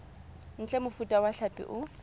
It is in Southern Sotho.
ntle mofuta wa hlapi o